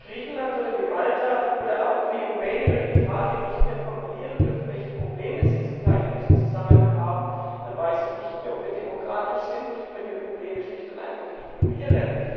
Wenn Länder wie Griechenland, Malta, Rumänien oder Italien nicht mehr benennen dürfen, welche Probleme sie zum Teil in diesem Zusammenhang haben, dann weiß ich nicht mehr, ob wir demokratisch sind, wenn wir Probleme schlicht und einfach ignorieren.